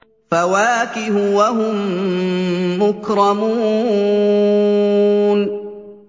فَوَاكِهُ ۖ وَهُم مُّكْرَمُونَ